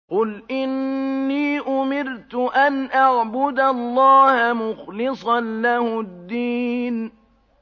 قُلْ إِنِّي أُمِرْتُ أَنْ أَعْبُدَ اللَّهَ مُخْلِصًا لَّهُ الدِّينَ